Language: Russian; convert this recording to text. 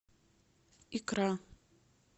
икра